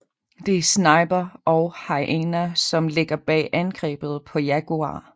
Det er Sniper og Hyena som ligger bag angrebet på Jaguar